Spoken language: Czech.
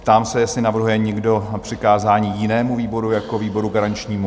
Ptám se, jestli navrhuje někdo přikázání jinému výboru jako výboru garančnímu.